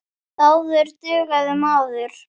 Áður dugði maður.